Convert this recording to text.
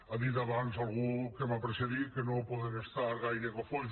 ha dit abans algú que m’ha precedit que no podem estar gaire cofois